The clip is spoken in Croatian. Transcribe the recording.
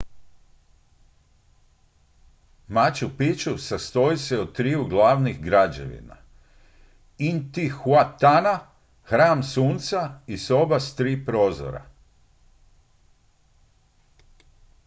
machu picchu sastoji se od triju glavnih građevina intihuatana hram sunca i soba s tri prozora